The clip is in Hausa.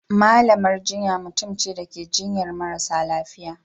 malamar jinya mutumce Dake jinyar marasa lafiya